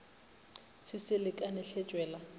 se se lekane hle tšwela